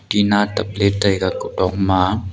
tinna tabley taiga kutok ma.